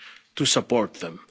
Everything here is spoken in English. efficiently to